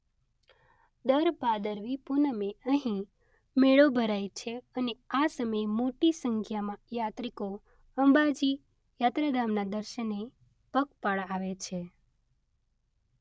દર ભાદરવી પુનમે અહીં મેળો ભરાય છે અને આ સમયે મોટી સંખ્યામાં યાત્રિકો અંબાજી યાત્રાધામના દર્શને પગપાળા આવે છે.